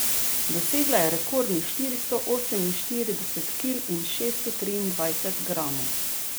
Dosegla je rekordnih štiristo oseminštirideset kil in šeststo triindvajset gramov.